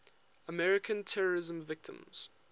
american terrorism victims